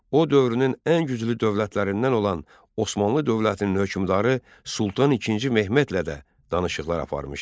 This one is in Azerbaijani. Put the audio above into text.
O dövrünün ən güclü dövlətlərindən olan Osmanlı dövlətinin hökmdarı Sultan İkinci Mehmedlə də danışıqlar aparmışdı.